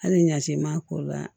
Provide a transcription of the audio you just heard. Hali ɲaci maa ko la